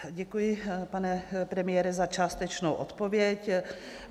Děkuji, pane premiére, za částečnou odpověď.